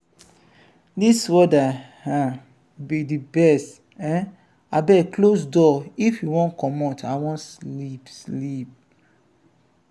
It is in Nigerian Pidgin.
dis weather um be the best. um abeg close door if you wan comot i wan sleep sleep.